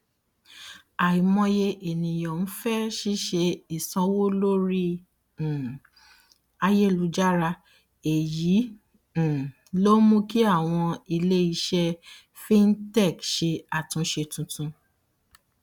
àìmọye ènìyàn ń fẹ ṣíṣe ìsanwó lórí um ayélujára èyí um ló mú kí àwọn iléiṣẹ fintech ṣe àtúnṣe tuntun